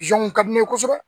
ka di ne ye kosɛbɛ